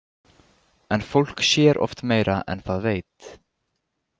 En fólk sér oft meira en það veit.